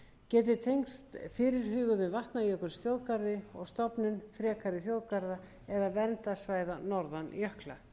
geti tengst fyrirhuguðum vatnajökulsþjóðgarði og stofnun frekari þjóðgarða eða verndarsvæða norðan jökla